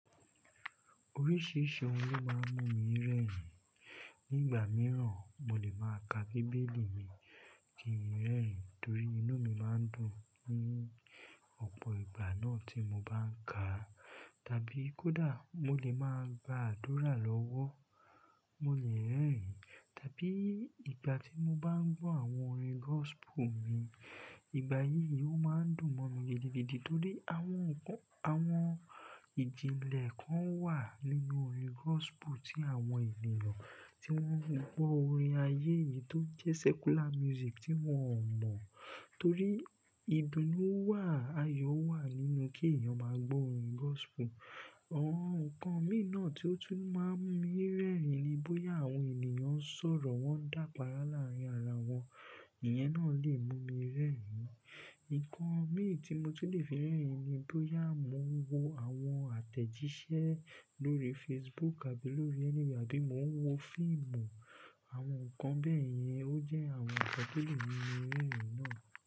Oríṣiríṣi ohun ló máa ń mú mi rẹ́rìn. Ní ìgbà mìíràn, mo lè máa ka Bíbélì mi kí n rẹ́rìn torí inú mi máa ń dùn ní ọ̀pọ̀ ìgbà náà tí mo bá ń ka. Tàbí kódà mo lè máa gbàdúrà lọ́wọ́, mo lè rẹ́rìn. Tàbí ìgbà tí mo bá ń gbọ́ àwọn orin gospel mi, ìgbà yìí yóò máa ń dùn mọ́ mi gidigidi torí àwọn nǹkan, àwọn ìjìnlẹ̀ kan wà nínú orin gospel tí àwọn ènìyàn tí wọ́n ń gbọ́ orin ayé yìí tó jẹ́ secular music tí wọ́n ò mọ̀. Torí ìbínú wà, ayọ̀ wà nínú kí èèyàn máa gbọ́ orin gospel. Àwọn nǹkan mi náà tí ó tún máa ń mú mi rẹ́rìn ni bóyá àwọn ènìyàn ń sọ̀rọ̀, wọ́n ń dàpàárá láàárín ara wọn, ìyẹn náà lè mú mi rẹ́rìn. Ǹkan mi tí mo tún lè fi rẹ́rìn ni bóyá mo ń wo àwọn àtẹ̀jíṣẹ́ lórí Facebook àbí lórí anywhere àbí mo ń wo fíìmù. Àwọn nǹkan bẹ́ẹ̀ yẹn ó jẹ́ àwọn ǹkan tó lè mú mi rẹ́rìn náà.